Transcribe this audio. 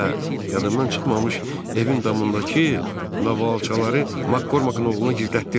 Hə, yadımdan çıxmamış evin damındakı novalçaları Makqorqın oğluna gizlətdirmə.